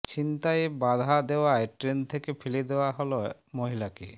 ছিনতাইয়ে বাধা দেওয়ায় ট্রেন থেকে ফেলে দেওয়া হল মহিলাকে